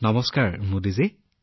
namaste Modiji